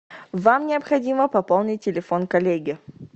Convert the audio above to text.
вам необходимо пополнить телефон коллеги